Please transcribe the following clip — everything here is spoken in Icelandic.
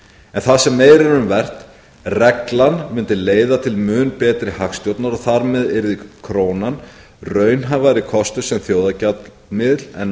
en það sem meira er um vert reglan mundi leiða til mun betri hagstjórnar og þar með yrði krónan raunhæfari kostur sem þjóðargjaldmiðill en